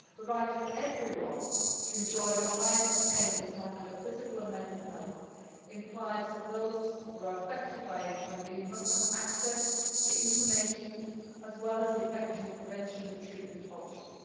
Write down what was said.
The right of everyone to enjoy the highest attainable standard of physical and mental health implies that those who are affected by HIV must have access to information as well as to effective prevention and treatment options.